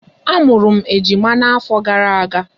Amụrụ m ejima n'afọ gara aga.